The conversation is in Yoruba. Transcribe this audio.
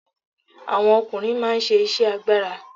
Àwọn ọkùnrin máa ń ṣe iṣẹ́ agbára.